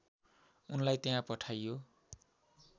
उनलाई त्यहाँ पठाइयो